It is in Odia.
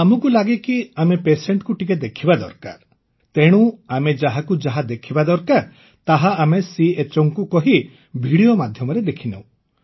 ଆମକୁ ଲାଗେ କି ଆମେ ପେସେଣ୍ଟ କୁ ଟିକେ ଦେଖିବା ଦରକାର ତେଣୁ ଆମକୁ ଯାହା ଯାହା ଦେଖିବା ଦରକାର ତାହା ଆମେ CHOଙ୍କୁ କହି ଠସୟରକ୍ଟ ମାଧ୍ୟମରେ ଦେଖିନେଉ